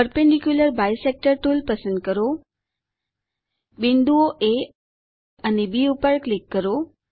perpendicular bisector tool પસંદ કરો બિંદુઓ એ અને બી પર ક્લિક કરો